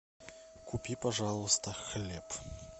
купи пожалуйста хлеб